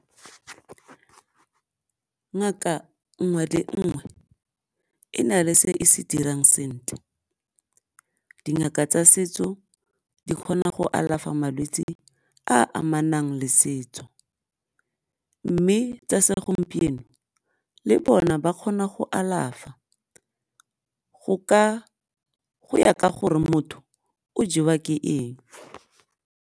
Ngaka nngwe le nngwe e na le se se dirang sentle, dingaka tsa setso di kgona go alafa malwetsi a amanang le setso, mme tsa segompieno le bona ba kgona go alafa go ya ka gore motho o jewa ke eng.